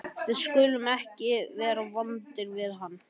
Við skulum ekki vera vond við hann.